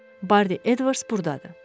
Bardi Edvards burdadır.